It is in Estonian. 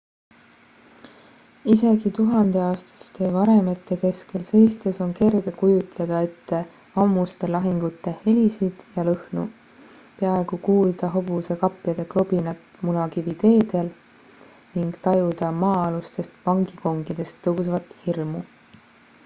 isegi tuhandeaastaste varemete keskel seistes on kerge kujutleda ette ammuste lahingute helisid ja lõhnu peaaegu kuulda hobuse kapjade klobinat munakiviteedel ning tajuda maa-alustest vangikongidest tõusvat hirmu